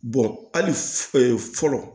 hali fɔlɔ